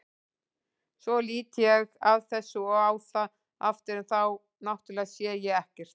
Svo lít ég af þessu og á það aftur en þá náttúrlega sá ég ekkert.